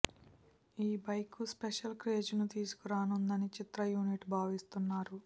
ఈ బైక్ కు special craze ని తీసుకురానుందని చిత్ర యూనిట్ భావిస్తున్నారు